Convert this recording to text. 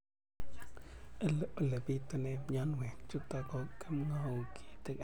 Ole pitune mionwek chutok ko kimwau kitig'�n